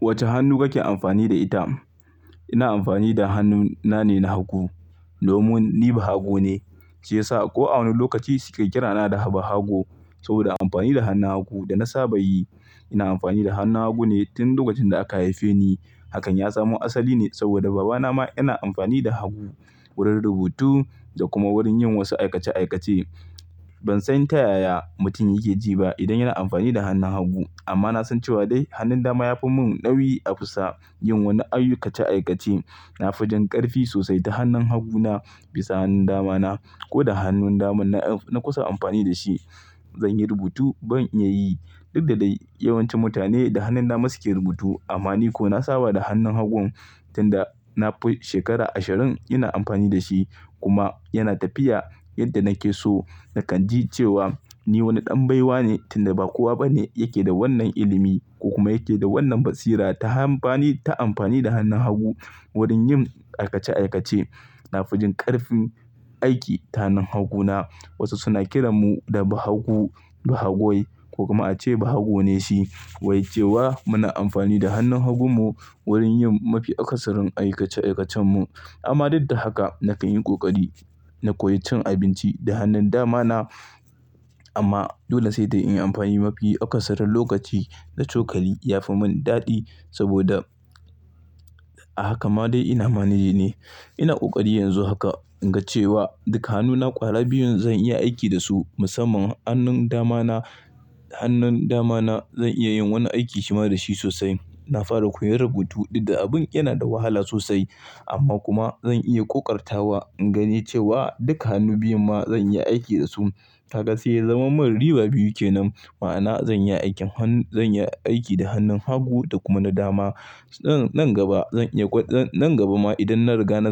Wace hannu kake amfani da ita? Ina amfani da hannu nane na hagu. Domin ni bahago ne. Shi yasa ko a wani lokaci suke kirana da bahago saboda amfani da hannun hagu da na saba yi. Ina amfani da hannun hagune tun lokacin da aka haife ni. Hakan ya zama asali ne saboda babana ma yana amfani da hagu wurin rubutu da kuma wurin yin wasu aikace aikace. Ban san ta yaya mutum yake ji ba idan yana amfani da hannun hagu. Amma na san cewa dai hannun dama yafi mun nauyi a fusa yin wani aikace aikace. Nafi jin ƙarfi sosai ta hannun haguna bisa hannun damana. Ko da hannun daman na kusa amfani da shi, zanyi rubutu ban iya yi. Dukkda dai yawancin mutane da hannun dama suke rubutu amma ni ko na saba da hannun hagu tun da na shekara ashirin ina amfani da shi kuma yana tafiya yadda nake so. Nakan ji cewa ni wani ɗan baiwa ne tun da ba kowa bane yake da wannan ilimi ko kuma yake da wannan basira ta amfani da hannun hagu wurin yin aikace aikace. Nafijin ƙarfin aiki ta hannun haguna. Wasu suna kiran mu da bahago, bahagoi ko kuma ace bahago ne shi. Wai cewa muna amfani da hannun hagun mu wurin yin mafi akasarin aikace aikacen mu. Amma dukkda haka nakan yi ƙoƙari na koyi cin abinci da hannun damana. Amma dole sai dai in yi mafi akasarin lokaci da cokali ya fi mun daɗi saboda a haka ma dai ina maneji ne. Ina ƙoƙari yanzu haka ingace wa duka hannuna ƙwara biyun zan iya aiki da su musamman hannun damana. Hannun damana zan iya yin wani aiki shima da shi sosai. Na fara koyan rubutu dukkda abun yana da wahala sosai amma kuma zan iya ƙoƙartawa in gane cewa duka hannu biyun ma zan iya aiki da su. Kaga sai zan zama mun riba biyu kenan. Ma'ana zan iya aiki da hannun hagu da kuma na dama. Nan gaba ma idan na riga na